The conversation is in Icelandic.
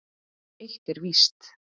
Það eitt er víst.